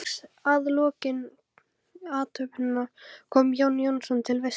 Strax að lokinni athöfninni kom Jón Jónsson til veislunnar.